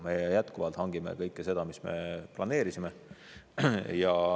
Me jätkuvalt hangime kõike seda, mis me planeerisime.